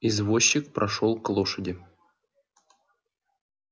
извозчик прошёл к лошади